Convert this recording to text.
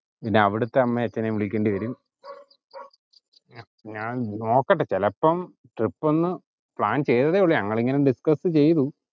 പിന്നെ അവിടുത്തെ അമ്മേം അച്ഛനേം വിളിക്കേണ്ടി വരും ഞാൻ നോക്കട്ടെ ചിലപ്പം trip ഒന്ന് plan ചെയ്തതെ ഉള്ളു ഞങ്ങൾ ഇങ്ങനെ Discuss ചെയ്‌തു.